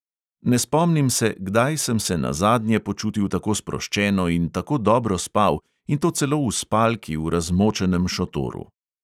Ne spomnim se, kdaj sem se nazadnje počutil tako sproščeno in tako dobro spal, in to celo v spalki v razmočenem šotoru.